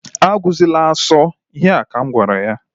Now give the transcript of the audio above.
A gụzịla asọ! Ihe a ka m gwara ya.